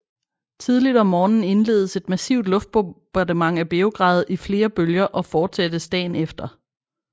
Tidligt om morgenen indledes et massivt luftbombardement af Beograd i flere bølger og fortsættes dagen efter